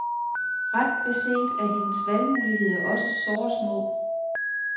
Ret beset er hendes valgmuligheder også såre små.